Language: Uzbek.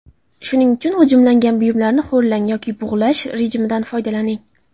Shuning uchun g‘ijimlangan buyumlarni ho‘llang yoki bug‘lash rejimidan foydalaning.